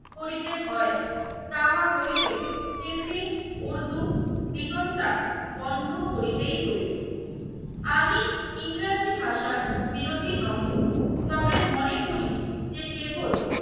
করিতে হয় তাহা হইলে হিন্দি, উর্দু, রিতন্ডা বন্ধ করিতেই হইবে। আমি ইংরেজি ভাষার বিরোধী নহে। তবে মনে করি যে কেবল